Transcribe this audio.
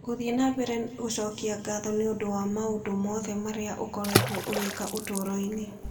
Gũthiĩ na mbere gũcokia ngatho nĩ ũndũ wa maũndũ mothe marĩa ũkoretwo ũgĩka ũtũũro-inĩ.